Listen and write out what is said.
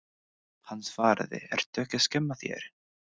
Hann svaraði, Ertu ekki að skemmta þér?